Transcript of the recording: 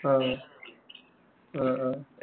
അ അആ